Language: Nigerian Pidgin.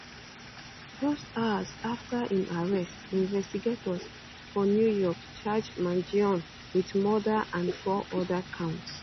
just hours afta im um arrest investigators for new york charge mangionewit murderand four oda counts